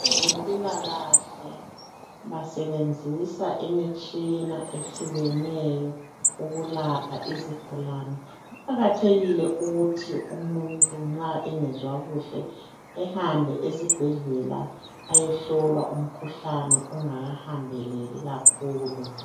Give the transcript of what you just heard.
Abezempilakahle basebenzisa imitshina ehlukeneyo ukulapha izigulane. Kuqakathekile ukuthi umuntu nxa engezwa kuhle ehambe esibhedlela ayehlolwa umkhuhlane ungaka hambeleli kakhulu.